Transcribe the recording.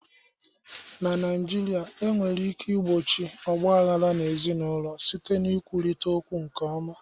Na Naịjirịa, e nwere ike igbochi ọgba aghara ezinụlọ site n'ikwurịta okwu nke ọma.